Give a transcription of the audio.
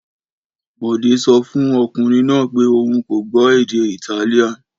Bọ̀dé sọ fún ọkùnrin náà pé òun kò gbọ́ èdè Italian.